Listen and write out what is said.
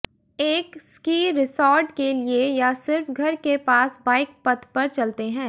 एक ski resort के लिए या सिर्फ घर के पास बाइक पथ पर चलते हैं